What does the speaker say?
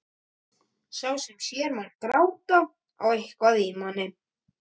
Sá sem sér mann gráta á eitthvað í manni.